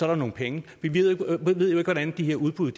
der nogle penge vi vi ved jo ikke hvordan de her udbud